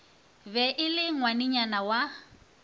be e le ngwanenyana wa